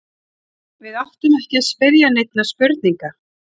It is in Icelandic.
Og við áttum ekki að spyrja neinna spurninga.